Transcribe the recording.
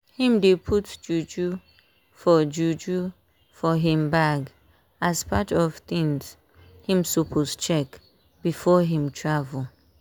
him dey put juju for juju for him bag as part of things him suppose check before him travel.